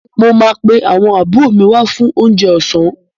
Mo máa pe àwọn àbúrò mi wá fún oúnjẹ ọ̀sán.